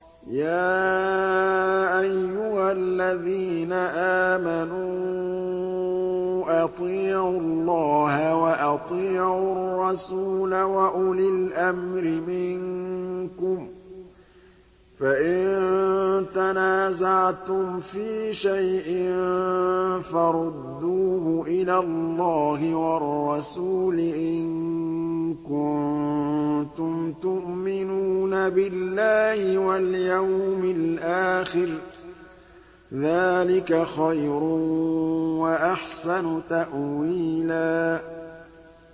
يَا أَيُّهَا الَّذِينَ آمَنُوا أَطِيعُوا اللَّهَ وَأَطِيعُوا الرَّسُولَ وَأُولِي الْأَمْرِ مِنكُمْ ۖ فَإِن تَنَازَعْتُمْ فِي شَيْءٍ فَرُدُّوهُ إِلَى اللَّهِ وَالرَّسُولِ إِن كُنتُمْ تُؤْمِنُونَ بِاللَّهِ وَالْيَوْمِ الْآخِرِ ۚ ذَٰلِكَ خَيْرٌ وَأَحْسَنُ تَأْوِيلًا